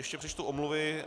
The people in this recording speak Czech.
Ještě přečtu omluvy.